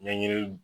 Ɲɛɲini